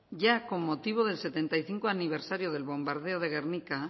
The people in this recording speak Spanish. ya con motivo del setenta aniversario del bombardeo de gernika